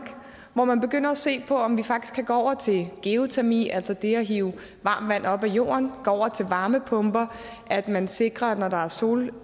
hvor man begynder at se på om man faktisk kan gå over til geotermi altså det at hive varmt vand op af jorden gå over til varmepumper at man sikrer at når der er sol